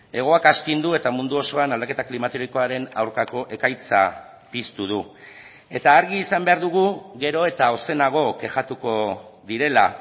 hegoak astindu eta mundu osoan aldaketa klimatikoaren aurkako ekaitza piztu du eta argi izan behar dugu gero eta ozenago kexatuko direla